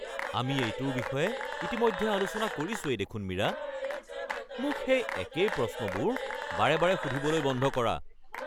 আমি এইটোৰ বিষয়ে ইতিমধ্যে আলোচনা কৰিছোৱেই দেখোন মীৰা! মোক সেই একেই প্ৰশ্নবোৰ বাৰে বাৰে সুধিবলৈ বন্ধ কৰা৷